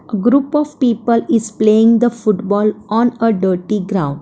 A group of people is playing the football on a dirty ground.